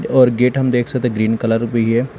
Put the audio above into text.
और गेट हम देख सकते ग्रीन कलर भी है।